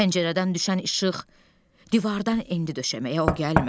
Pəncərədən düşən işıq divardan endi döşəməyə, o gəlmədi.